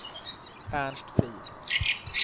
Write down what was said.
Ernst Frid